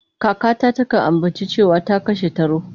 Kakata takan ambaci cewa ta kashe taro.